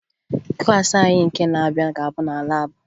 Klaasị anyị nke na-abịa ga-abụ na laabụ